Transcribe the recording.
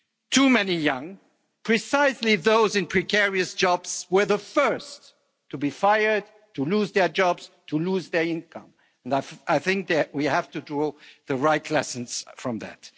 Too many young people, precisely those in precarious jobs, were the first to be fired, to lose their jobs, to lose their income, and I think that we have to draw the right lessons from that.